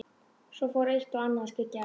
Svo fór eitt og annað að skyggja á.